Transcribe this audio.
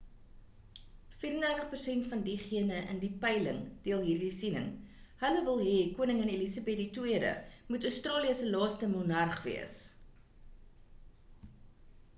34 persent van diegene in die peiling deel hierdie siening hul wil hê koningin elizabeth ll moet australië se laaste monarg wees